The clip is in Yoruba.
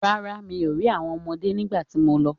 Rárá, mi ò rí àwọn ọmọdé nígbà tí mo lọ.